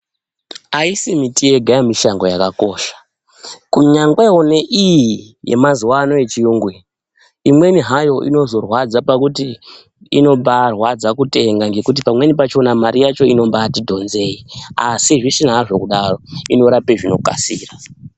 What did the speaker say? Aisi miti yega yemishango yakakosha kunyangwera neiyi yemazuwa ano yechiyungu iyi imweni hayo inozorwadza pakuti inombaarwadza kutenga ngekuti pamweni pachona mare yacho inombati dhonzei asi zvisina hazvo kudaro inorape zvinokasira.